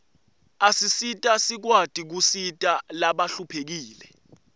asisita sikwati kusita labahluphekile